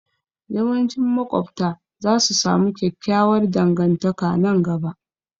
Yawancin maƙwabta za su samu kyakkyawar dangantaka nan gaba